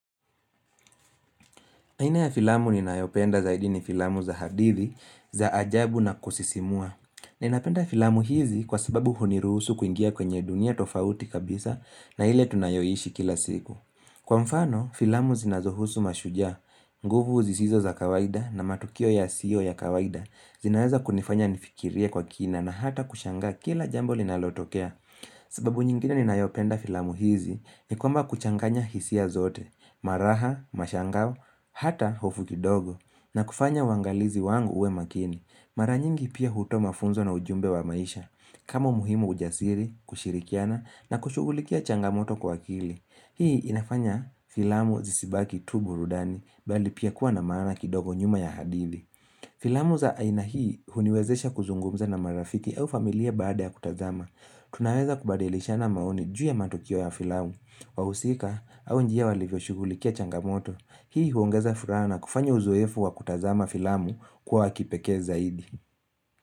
Hina ya filamu ninayopenda zaidi ni filamu za hadithi, za ajabu na kusisimua. Ninapenda filamu hizi kwa sababu huniruhusu kuingia kwenye dunia tofauti kabisa na ile tunayoishi kila siku. Kwa mfano, filamu zinazohusu mashujaa. Nguvu zisizo za kawaida na matukio ya sio ya kawaida zinaweza kunifanya nifikiria kwa kina na hata kushangaa kila jambo linalotokea. Sababu nyingine ni nayopenda filamu hizi ni kwamba kuchanganya hisia zote, maraha, mashangao, hata hofu kidogo na kufanya wangalizi wangu uwe makini. Mara nyingi pia huto mafunzo na ujumbe wa maisha. Kama umuhimu ujasiri, kushirikiana na kushugulikia changamoto kwa akili. Hii inafanya filamu zisibaki tu burudani bali pia kuwa na maana kidogo nyuma ya hadithi. Filamu za aina hii uniwezesha kuzungumza na marafiki au familia baada ya kutazama. Tunaweza kubadilishana maoni juu ya matukio ya filamu, wahusika au njia walivyoshugulikia changamoto. Hii huongeza furaha na kufanya uzoefu wa kutazama filamu kwa wa kipekee zaidi.